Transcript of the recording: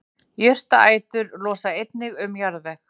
Jurtaætur losa einnig um jarðveg.